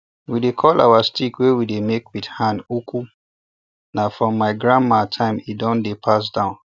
we dey call our stick wey we make with hand oku na from my grandma time e don dey pass down